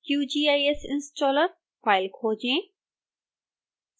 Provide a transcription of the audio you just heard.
qgis installer file खोजें